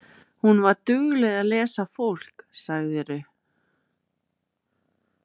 Hún var dugleg að lesa fólk, sagðirðu?